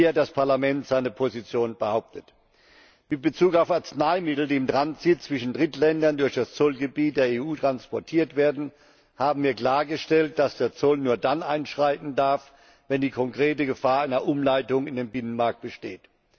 Auch hier hat das Parlament seine Position behauptet. Mit Bezug auf Arzneimittel, die im Transit zwischen Drittländern durch das Zollgebiet der EU transportiert werden, haben wir klargestellt, dass der Zoll nur dann einschreiten darf, wenn die konkrete Gefahr einer Umleitung in den Binnenmarkt besteht.